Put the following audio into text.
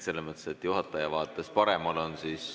Selles mõttes, juhataja vaates paremal on ...